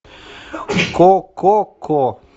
ко ко ко